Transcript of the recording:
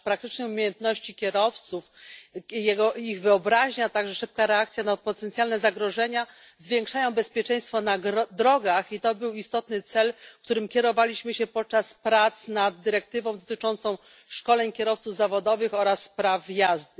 Praktyczne umiejętności kierowców, ich wyobraźnia, a także szybka reakcja na potencjalne zagrożenia zwiększają bezpieczeństwo na drogach. I to był istotny cel, którym kierowaliśmy się podczas prac nad dyrektywą dotyczącą szkoleń kierowców zawodowych oraz praw jazdy.